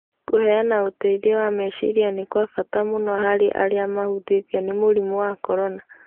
Kũheana ũteithio wa meciria nĩ kwa bata mũno harĩ arĩa mahutĩtio nĩ mũrimũ wa corona.